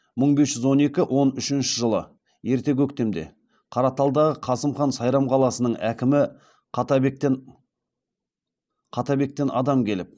мың бес жүз он екі он үшінші жылы ерте көктемде қараталдағы қасым ханға сайрам қаласының әкімі қаттабектен адам келіп